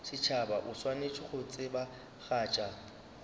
setšhaba o swanetše go tsebagatša